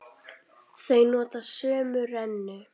Þau nota sömu rennu.